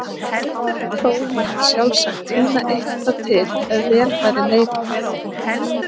Þó mætti sjálfsagt tína eitthvað til ef vel væri leitað.